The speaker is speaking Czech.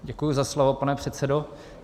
Děkuji za slovo, pane předsedo.